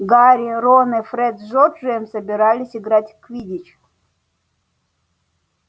гарри рон и фред с джорджем собирались играть в квиддич